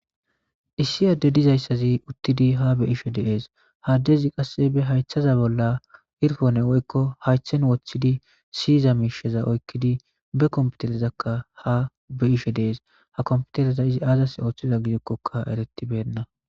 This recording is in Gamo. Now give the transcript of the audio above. issi adde dizayssazi uttidi ha be'ishshe dees ha addezi qasse be hayththeza bolla irfonne woykko hayththen woththidi siiyiza miishsheza oykkidi be kompiterezakka ha be'ishshe dees ha kompitereza izi azas ooththiza gidekkokka eretibenna